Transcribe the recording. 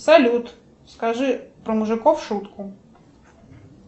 салют скажи про мужиков шутку